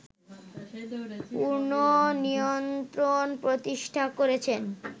পূর্ণ নিয়ন্ত্রণ প্রতিষ্ঠা করেছেন